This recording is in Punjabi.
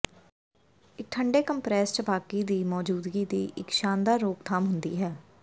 ਇੱਕ ਠੰਡੇ ਕੰਪਰੈੱਸ ਛਪਾਕੀ ਦੀ ਮੌਜੂਦਗੀ ਦੀ ਇਕ ਸ਼ਾਨਦਾਰ ਰੋਕਥਾਮ ਹੁੰਦੀ ਹੈ